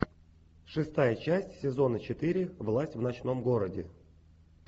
шестая часть сезона четыре власть в ночном городе